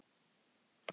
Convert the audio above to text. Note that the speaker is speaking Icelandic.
Páll, Vignir og Snorri.